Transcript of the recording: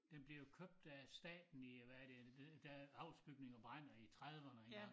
Den bliver jo købt af staten i øh hvad er det i er det da alvsbygninger brænder i trediverne engang